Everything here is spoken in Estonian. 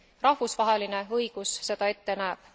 rahvusvaheline õigus seda ette näeb.